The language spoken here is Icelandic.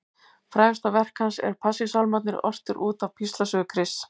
Frægasta verk hans eru Passíusálmarnir, ortir út af píslarsögu Krists.